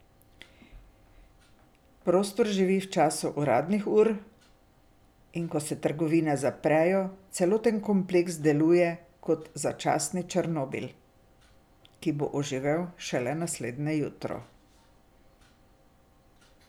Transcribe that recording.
Prostor živi v času uradnih ur, in ko se trgovine zaprejo, celoten kompleks deluje kot začasni Černobil, ki bo oživel šele naslednje jutro.